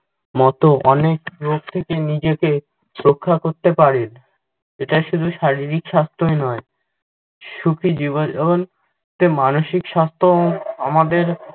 মতো অনেক রোগ থেকে নিজেকে রক্ষা করতে। ইটা শুধু শারীরিক স্বাস্থ্যই নই, সুখী তে মানষিক স্বাস্থ্যও আমাদের